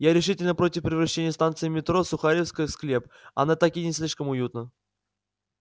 я решительно против превращения станции метро сухаревская в склеп она и так не слишком уютна